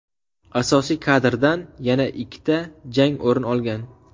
Asosiy karddan yana ikkita jang o‘rin olgan.